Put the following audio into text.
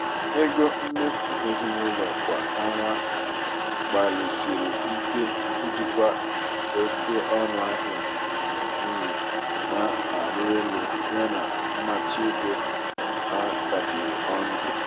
ego mmefu ezinụlọ kwa ọnwa gbalịsiri ike ijikwa oke ọnụ ahịa nri na-arị elu yana mmachi ego a kapịrị ọnụ.